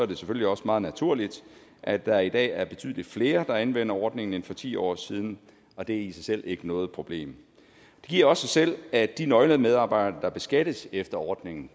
det selvfølgelig også meget naturligt at der i dag er betydelig flere der anvender ordningen end for ti år siden og det er i sig selv ikke noget problem det giver også sig selv at de nøglemedarbejdere der beskattes efter ordningen